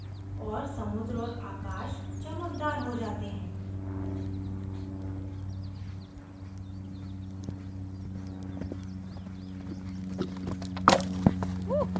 और समुद्र और आकाश चमकदार हो जाते हैं